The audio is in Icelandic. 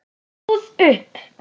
Ég stóð upp.